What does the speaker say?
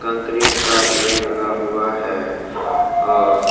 concrete का ढेर लगा हुआ है और --